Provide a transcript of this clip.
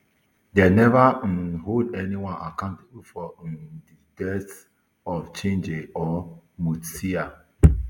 dem neva um hold anyone accountable for um di deaths of chege or mutisya